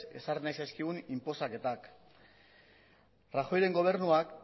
ezarri nahi zizkigun inposaketak rajoyren gobernuak